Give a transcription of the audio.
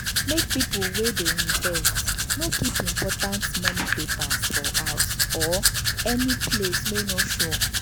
make pipu wey dey invest no keep important money papers for house or any place wey no sure.